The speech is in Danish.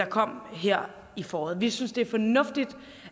kom her i foråret vi synes det er fornuftigt